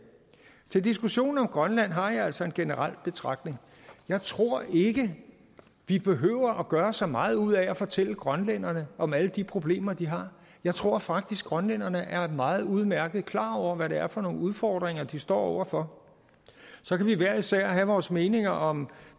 til diskussionen om grønland har jeg altså en generel betragtning jeg tror ikke vi behøver gøre så meget ud af at fortælle grønlænderne om alle de problemer de har jeg tror faktisk grønlænderne er meget udmærket klar over hvad det er for nogle udfordringer de står over for så kan vi hver især have vores meninger om